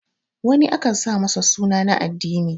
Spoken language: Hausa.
wani akan sa masa suna na addini